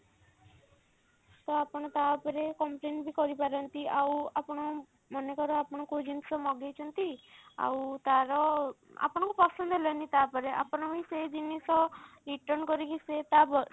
ତ ଆପଣ ତା ଉପରେ complain ବି କରିପାରନ୍ତି ଆଉ ଆପଣ ମନେକର ଆପଣ କଉ ଜିନିଷ ମଗେଇଛନ୍ତି ଆଉ ତାର ଆପଣଙ୍କୁ ପସନ୍ଦ ହେଲାନି ତାପରେ ଆପଣ ହିଁ ସେ ଜିନିଷ return କରିକି ସେ ତା